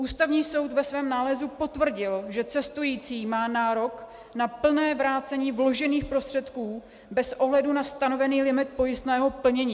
Ústavní soud ve svém nálezu potvrdil, že cestující má nárok na plné vrácení vložených prostředků bez ohledu na stanovený limit pojistného plnění.